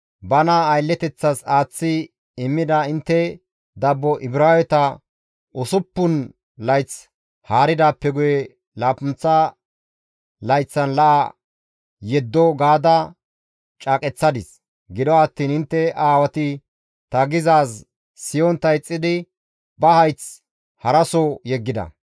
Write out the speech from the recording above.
‹Bana aylleteththas aaththi immida intte dabbo Ibraaweta usuppun layth haaridaappe guye laappunththa layththan la7a yeddo› gaada caaqeththadis; gido attiin intte aawati ta gizaaz siyontta ixxidi ba hayth haraso yeggida.